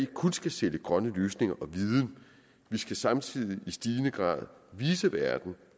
kun skal sælge grønne løsninger og viden vi skal samtidig i stigende grad vise verden